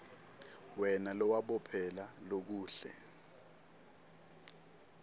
wena lowabophela lokuhle